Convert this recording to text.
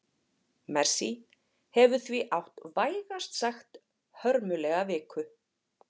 Messi hefur því átt vægast sagt hörmulega viku.